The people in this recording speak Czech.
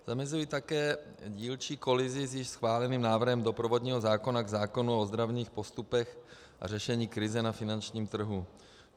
Zamezují také dílčí kolizi s již schváleným návrhem doprovodného zákona k zákonu o ozdravných postupech a řešení krize na finančním trhu.